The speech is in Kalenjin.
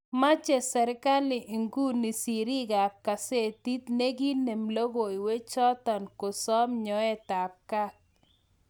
mache serigali inguni sirik ap kasetit negiinem logoiywek chatong kosam nyoet ap kaat